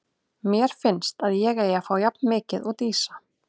Mér finnst að ég eigi að fá jafn mikið og Dísa.